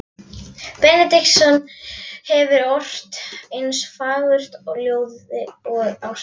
Benediktsson hefur ort eins fagurt ljóð og ástin.